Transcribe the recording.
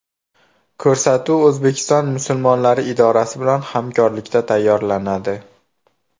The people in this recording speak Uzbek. Ko‘rsatuv O‘zbekiston musulmonlari idorasi bilan hamkorlikda tayyorlanadi.